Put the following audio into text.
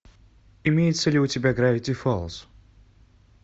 имеется ли у тебя гравити фолз